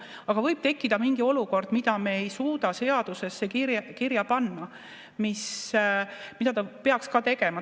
Aga võib tekkida mingi olukord, mida me ei suuda seadusesse kirja panna, mida ta peaks ka tegema.